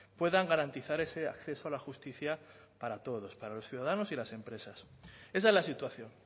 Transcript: puedan garantizar ese acceso a la justicia para todos para los ciudadanos y las empresas esa es la situación